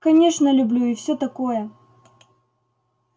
конечно люблю и все такое